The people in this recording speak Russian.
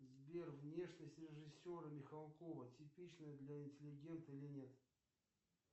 сбер внешность режиссера михалкова типична для интеллигента или нет